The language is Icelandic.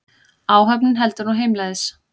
Áhöfnin heldur nú heimleiðis